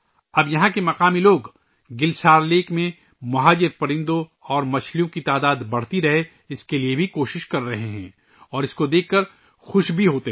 اب یہاں کے مقامی لوگ بھی '' گل سار جھیل '' میں ہجرت کرنے والے پرندوں اور مچھلیوں کی تعداد بڑھانے کے لئے کوششیں کر رہے ہیں اور اسے دیکھ کر خوش بھی ہوتے ہیں